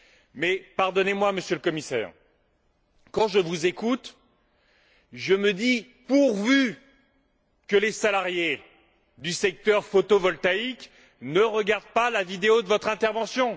Mais, pardonnez moi, Monsieur le Commissaire, quand je vous écoute, je me dis Pourvu que les salariés du secteur photovoltaïque ne regardent pas la vidéo de votre intervention!